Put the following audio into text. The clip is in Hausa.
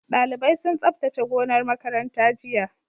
Dalibai sun tsabtace gonar makaranta jiya